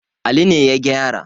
Ali ne ya gyara.